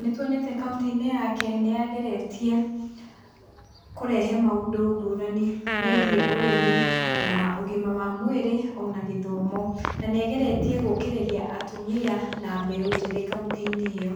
nĩtuonete kauntĩ-inĩ yake nĩ ageretie kũrehe maũndũ ngũrani ngũrani megiĩ ũrĩmi na ũgima wa mwĩrĩ ona gĩthomo na nĩ ageretie gũkĩrĩrĩa atumia na mbeu njĩthĩ kauntĩ-inĩ ĩyo.